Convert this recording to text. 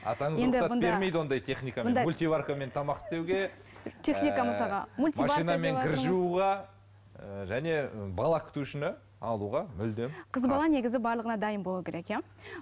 атаңыз рұқсат бермейді ондай техникамен мультиваркамен тамақ істеуге ііі машинамен кір жууға ііі және ы бала күтушіні алуға мүлдем қыз бала негізі барлығына дайын болуы керек иә